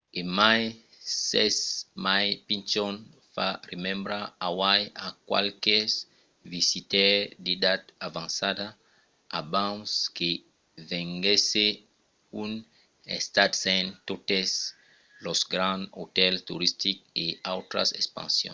e mai s’es mai pichon fa remembrar hawaii a qualques visitaires d’edat avançada abans que venguèsse un estat sens totes los grands otèls toristics e autras expansions